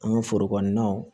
An ka foro kɔnɔnaw